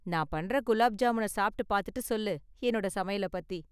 நான் பண்ற குலாப் ஜாமூன சாப்பிட்டு பாத்துட்டு சொல்லு என்னோட சமையலப் பத்தி.